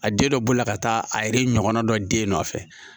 A den dɔ b'u la ka taa a yɛrɛ ɲɔgɔnna dɔ den nɔfɛ